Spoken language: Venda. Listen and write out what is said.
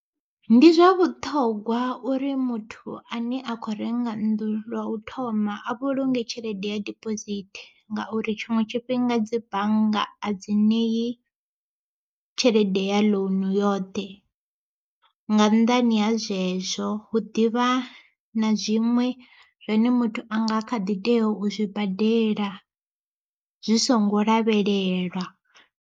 Ndi zwa vhuṱhogwa uri muthu a ne a khou renga nnḓu lwa u thoma a vhulunge tshelede ya dibosithi, ngauri tshiṅwe tshifhinga dzi bannga a dzi ṋei tshelede ya ḽounu yoṱhe. Nga nnḓani ha zwezwo hu ḓivha na zwiṅwe zwine muthu a nga kha ḓi tea u zwi badela zwi songo lavhelelwa.